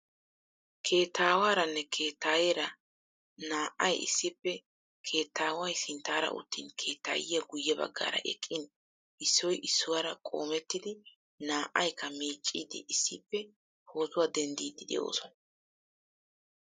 Keettaawaaranne keettaayeera naa"ay issippe keettaaway sinttaara uttin keettaayiya guyye baggaara eqqin issoy issuwara qoomettidi naa"aykka miicciiddi issippe pootuwa denddiiddi de'oosona.